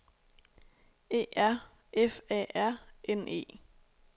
E R F A R N E